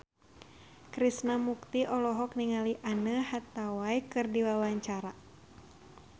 Krishna Mukti olohok ningali Anne Hathaway keur diwawancara